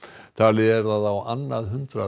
talið er að á annað hundrað